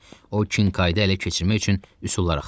O, Kinkaydı ələ keçirmək üçün üsullar axtarırdı.